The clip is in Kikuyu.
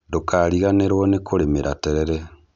Ndũkariganĩrwo nĩ kũrĩmĩra terere